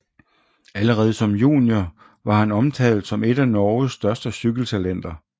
Allerede som junior var han omtalt som et af Norges største cykeltalenter